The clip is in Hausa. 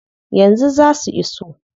Yanzu zaa su iso.